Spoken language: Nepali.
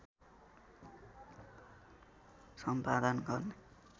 सम्पादन गर्ने